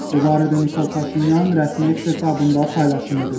Bu barədə Nikol Paşinyan rəsmi eks hesabında paylaşım edib.